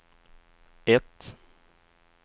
ett